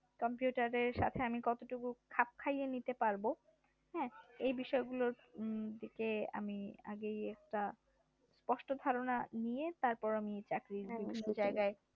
computer এর সাথে আমি কতটুকু খাপ খাইয়ে নিতে পারবো এ বিষয়গুলোর দিকে আমি আগেই একটা স্পষ্ট ধারণা নিয়ে তারপর আমি চাকরির